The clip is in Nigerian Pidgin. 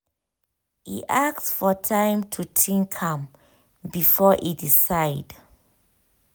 e ask for time to think am before e decide